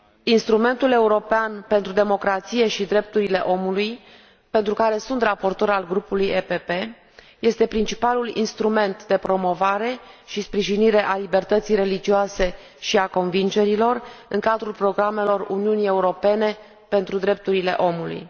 Instrumentul european pentru democrație și drepturile omului, pentru care sunt raportor al Grupului PPE, este principalul instrument de promovare și sprijinire a libertății religioase și a convingerilor, în cadrul programelor Uniunii Europene pentru drepturile omului.